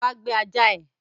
Wá gbé ajá ẹ!